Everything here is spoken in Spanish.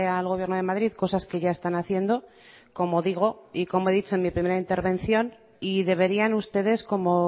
al gobierno de madrid cosas que ya están haciendo como digo y como he dicho en mi primera intervención y deberían ustedes como